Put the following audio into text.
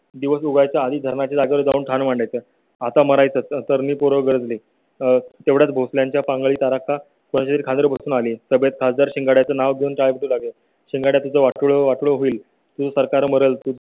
दिवस उजाडायच्या आधी धरणा ची जागा जाऊन ठाण मांडायचं. तरणी पोरं गरजले तेवढाच भोसल्यांच्या शिंगाड्याचं नाव घेऊन जावे लागेल शिंगाड्याचं वाटोळं वाटोळं होईल तुझं सरकार मरेल.